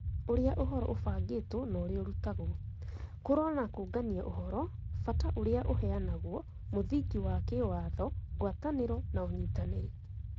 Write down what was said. Ũrĩa ũhoro ũbangĩtwo na ũrĩa ũrutagwo, kũrora na kũũngania ũhoro, bata ũrĩa ũheanagwo, mũthingi wa kĩwatho, ngwatanĩro na ũnyitanĩri